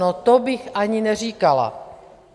No to bych ani neříkala.